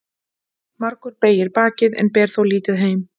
Margur beygir bakið en ber þó lítið heim.